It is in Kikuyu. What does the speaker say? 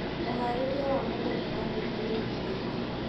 ũharĩria wa mũgũnda wa mbembe nĩwambĩtie.